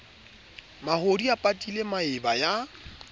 mahodi a patile maeba ya